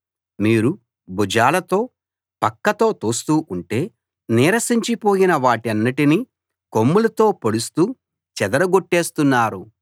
మీరు భుజాలతో పక్కతో తోస్తూ ఉంటే నీరసించిపోయిన వాటన్నిటినీ కొమ్ములతో పొడుస్తూ చెదరగొట్టేస్తున్నారు